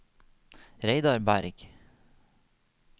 Reidar Bergh